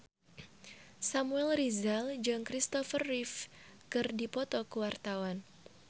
Samuel Rizal jeung Kristopher Reeve keur dipoto ku wartawan